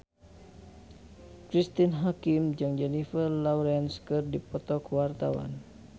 Cristine Hakim jeung Jennifer Lawrence keur dipoto ku wartawan